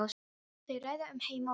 Þau ræða um heima og geima.